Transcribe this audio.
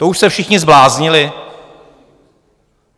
To už se všichni zbláznili?